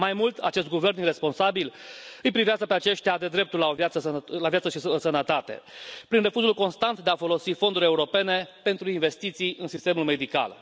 Mai mult, acest guvern iresponsabil îi privează pe aceștia de dreptul la viață și sănătate prin refuzul constant de a folosi fonduri europene pentru investiții în sistemul medical.